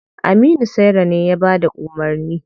Aminu saira ne ya bada umarni.